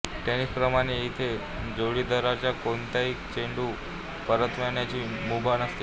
टेनिसप्रमाणे इथे जोडीदाराला कोणताही चेंडू परतवण्याची मुभा नसते